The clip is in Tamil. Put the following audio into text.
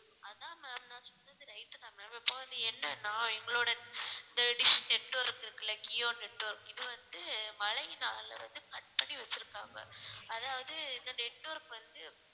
அதான் ma'am நான் சொன்னது right தான் ma'am இப்போ அது என்னன்னா எங்களோட இந்த dish network இருக்கு இல்ல jio யோ network இது வந்து மழையினாலே வந்து cut பண்ணி வச்சிருக்காங்க அதாவது இந்த network வந்து